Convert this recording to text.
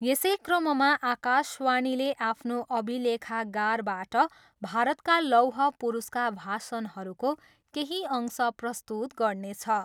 यसै क्रममा आकाशवाणीले आफ्नो अभिलेखागारबाट भारतका लौह पुरुषका भाषणहरूको केही अंश प्रस्तुत गर्नेछ।